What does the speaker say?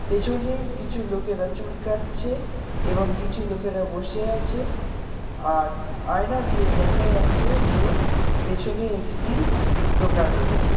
পেছনে কিছু লোকেরা চুল কাটছে এবং কিছু লোকেরা বসে আছে আর আয়না দিয়ে দেখা যাচ্ছে যে পেছনে একটি দোকান রয়েছে।